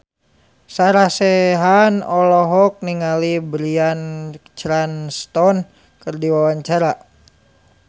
Sarah Sechan olohok ningali Bryan Cranston keur diwawancara